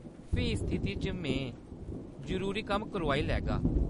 फ्ही उस स्थिति च में जरूरी कम्म करोआई लैगा।